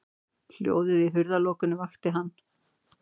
Hljóðið í hurðarlokunni vakti hann.